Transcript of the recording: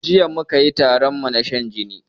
Jiya mukayi taronmu na shan jini